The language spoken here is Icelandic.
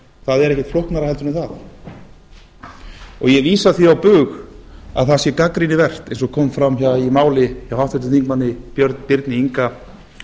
það er ekkert flóknara heldur en það og ég vísa því á bug að það sé gagnrýni vert eins og kom fram hjá háttvirtum þingmanni birni inga